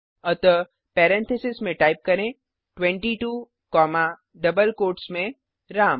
अतः पेरेंथीसेस में टाइप करें 22 कॉमा डबल कोट्स में राम